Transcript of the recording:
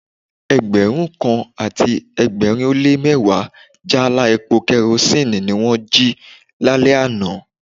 Ẹgbẹ̀rún kan àti ẹgbẹ̀rin ó lé mẹ́wàá jáálá epo kerosinni ni wón jí lálẹ́ àná.